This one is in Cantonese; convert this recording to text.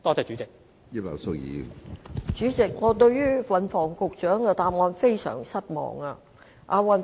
主席，我對運輸及房屋局局長的答案非常失望。